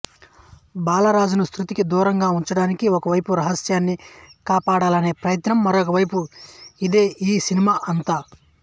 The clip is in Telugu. బాలరాజును శ్రుతికి దూరంగా ఉంచడానికి ఒకవైపు రహస్యాన్ని కాపాడాలనే ప్రయత్నం మరోవైపూ ఇదే ఈ సినిమ అంతా